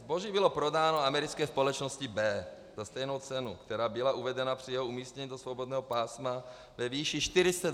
Zboží bylo prodáno americké společnosti B za stejnou cenu, která byla uvedena při jeho umístění do svobodného pásma ve výši 420 tis. eur.